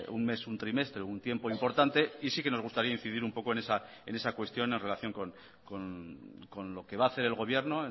un mes un trimestre un tiempo importante y sí que nos gustaría incidir un poco en esa cuestión en relación con lo que va a hacer el gobierno